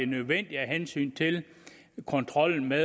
nødvendige af hensyn til kontrollen med